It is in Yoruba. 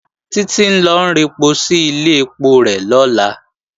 Títí ń lọ rẹpo sí ilé ẹpo rẹ̀ lọ́la